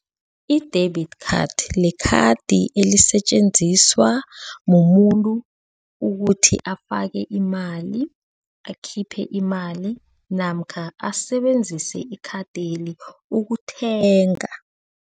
I-debit card, likhadi elisetjenziswa mumuntu ukuthi afake imali, akhiphe imali namkha asebenzise ikhadeli ukuthenga.